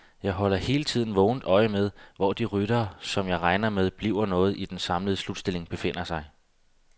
Jeg holder hele tiden vågent øje med, hvor de ryttere, som jeg regner med bliver noget i den samlede slutstilling, befinder sig.